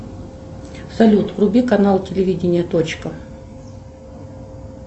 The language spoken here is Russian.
салют вруби канал телевидение точка